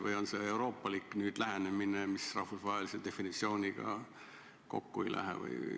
Või on see euroopalik lähenemine, mis rahvusvahelise definitsiooniga kokku ei lähe?